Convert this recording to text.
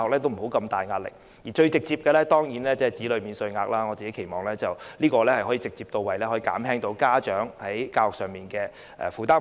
當然最直接的就是提高子女免稅額，我期望這樣可以直接到位，減輕家長在教育方面的負擔開支。